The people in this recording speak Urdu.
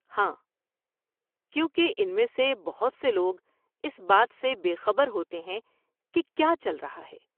ہاں، کیونکہ ان میں سے بہت سے لوگ اس بات سے بے خبر ہوتے ہیں کہ کیا چل رہا ہے۔